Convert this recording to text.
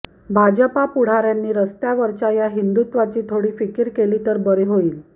भाजपा पुढाऱ्यांनी रस्त्यावरच्या या हिंदुत्वाची थोडी फिकीर केली तर बरे होईल